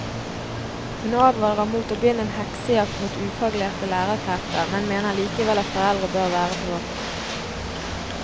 Hun advarer mot å begynne en heksejakt mot ufaglærte lærerkrefter, men mener likevel at foreldre bør være på vakt.